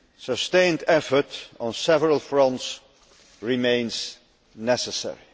Sustained effort on several fronts remains necessary.